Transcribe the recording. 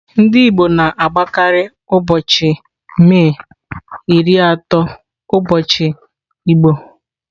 Ndị igbo na-agbakarị ụbọchị May ịrị atọ ụbọchị igbo.